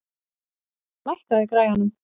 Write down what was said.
Louise, lækkaðu í græjunum.